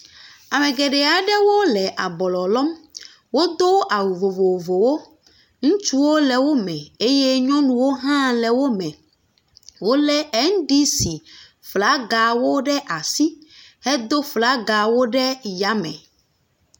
Ame geɖe aɖewo le ablɔ lɔm wodo nu vovovowo ŋutsuwo le wome eye nyɔnuwo hale wome wolé NDC flagawo ɖe asi hedo flagawo ɖe yame